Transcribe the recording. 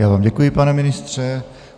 Já vám děkuji, pane ministře.